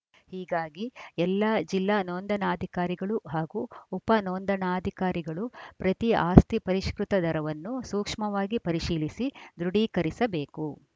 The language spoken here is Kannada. ಹೀಗಾಗಿ ಎಲ್ಲಾ ಜಿಲ್ಲಾ ನೋಂದಣಾಧಿಕಾರಿಗಳು ಹಾಗೂ ಉಪ ನೋಂದಣಾಧಿಕಾರಿಗಳು ಪ್ರತಿ ಆಸ್ತಿ ಪರಿಷ್ಕೃತ ದರವನ್ನೂ ಸೂಕ್ಷ್ಮವಾಗಿ ಪರಿಶೀಲಿಸಿ ದೃಢೀಕರಿಸಬೇಕು